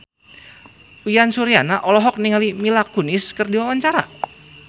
Uyan Suryana olohok ningali Mila Kunis keur diwawancara